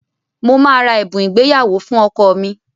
Mo máa ra ẹ̀bùn ìgbéyàwó fún ọkọ mi.